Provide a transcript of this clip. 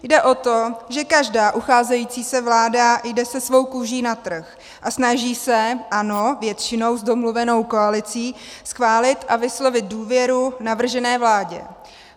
Jde o to, že každá ucházející se vláda jde se svou kůží na trh a snaží se, ano, většinou s domluvenou koalicí, schválit a vyslovit důvěru navržené vládě.